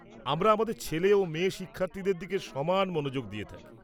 আমরা আমাদের ছেলে ও মেয়ে শিক্ষার্থীদের দিকে সমান মনোযোগ দিয়ে থাকি।